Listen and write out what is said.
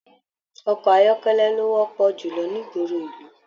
Ọkọ ayọkẹlẹ ló wọpọ julọ n'igboro ìlú.